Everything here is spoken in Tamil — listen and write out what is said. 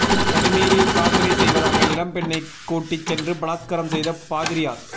தனிமையில் பிரார்த்தனை செய்வதாக இளம் பெண்ணை கூட்டி சென்று பலாத்காரம் செய்த பாதிரியார்